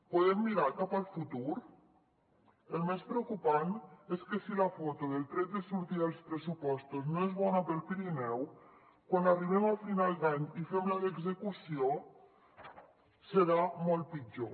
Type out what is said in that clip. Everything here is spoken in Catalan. podem mirar cap al futur el més preocupant és que si la foto del tret de sortida dels pressupostos no és bona per al pirineu quan arribem a final d’any i fem la d’execució serà molt pitjor